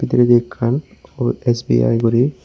denedi ekkan ubot S_B_I guri.